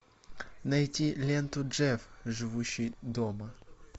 найти ленту джефф живущий дома